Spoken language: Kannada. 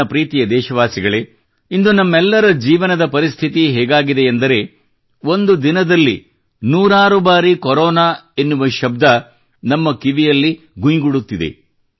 ನನ್ನ ಪ್ರೀತಿಯ ದೇಶವಾಸಿಗಳೇ ಇಂದು ನಮ್ಮೆಲ್ಲರ ಜೀವನದ ಪರಿಸ್ಥಿತಿ ಹೇಗಾಗಿದೆ ಎಂದರೆ ಒಂದು ದಿನದಲ್ಲಿ ನೂರಾರು ಬಾರಿ ಕೊರೊನಾ ಎನ್ನುವ ಶಬ್ದ ನಮ್ಮ ಕಿವಿಯಲ್ಲಿ ಘುಯ್ ಗುಡುತ್ತಿದೆ